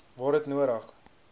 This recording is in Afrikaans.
waar dit nodig